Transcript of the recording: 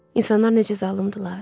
İnsanlar necə zalımdırlar!